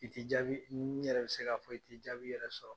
I tɛ jaabi n yɛrɛ bɛ se k'a fɔ i tɛ jaabi yɛrɛ sɔrɔ.